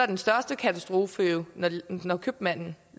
den største katastrofe jo når købmanden